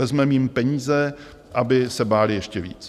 Vezmeme jim peníze, aby se bály ještě víc.